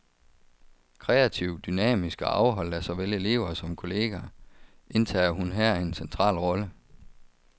Kreativ, dynamisk og afholdt af såvel elever som kolleger, indtager hun her en central rolle.